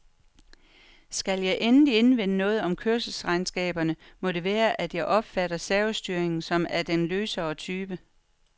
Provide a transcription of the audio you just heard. Skal jeg endelig indvende noget om køreegenskaberne, må det være, at jeg opfatter servostyringen som af den løsere type.